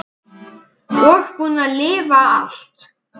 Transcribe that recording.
Og búin að lifa allt.